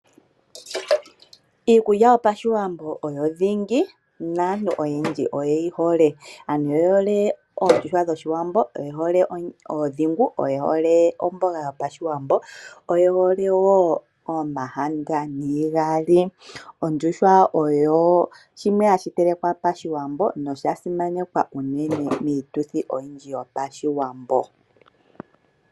Iikulya yopaShiwambo oyo dhingi, naantu oyendji oyeyi hole. Aantu oye hole oondjuhwa dhOshiwambo, oye hole ondhigu, oye hole omboga yopaShiwambo, oye hole wo omakaka niigali. Ondjuhwa oyo shimwe hashi telekwa PaShiwambo nosha simanekwa unene miituthi oyindji yopaShiwambo.